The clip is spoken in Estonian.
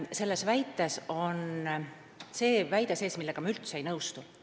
Selles on sees väide, millega ma üldse ei nõustu.